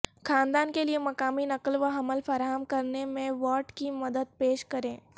خاندان کے لئے مقامی نقل و حمل فراہم کرنے میں وارڈ کی مدد پیش کریں